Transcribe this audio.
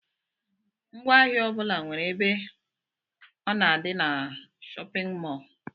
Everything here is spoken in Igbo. Ngwaahịa ọbula nwere ebe ọ na-adi n'shóppin mol.